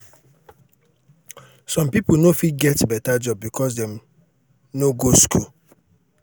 some people no fit get beta job becos dem no go school